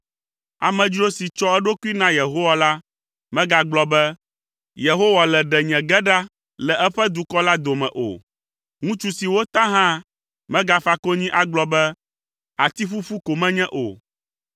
Amedzro si tsɔ eɖokui na Yehowa la megagblɔ be, “Yehowa le ɖe nye ge ɖa le eƒe dukɔ la dome” o. Ŋutsu si wota hã megafa konyi agblɔ be, “Ati ƒuƒu ko menye” o.